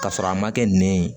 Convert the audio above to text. K'a sɔrɔ a ma kɛ nɛn ye